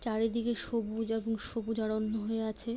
চারিদিকে সবুজ এবং সবুজ অরণ্য হয়ে আছে।